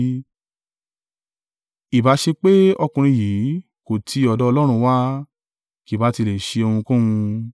Ìbá ṣe pé ọkùnrin yìí kò ti ọ̀dọ̀ Ọlọ́run wá, kì bá tí lè ṣe ohunkóhun.”